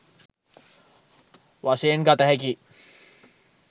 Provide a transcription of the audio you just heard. වශයෙන් ගත හැකියි